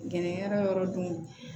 Gɛlɛyara yɔrɔ dun